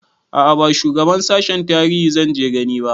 A'a ba shugaban sashen tarihi zanje gani ba